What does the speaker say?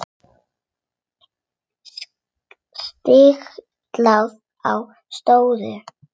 Stiklað á stóru